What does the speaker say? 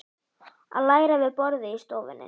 Að læra við borðið í stofunni.